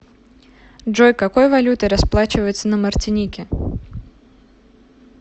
джой какой валютой расплачиваются на мартинике